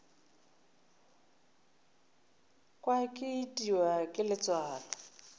kwa ke itiwa ke letswalo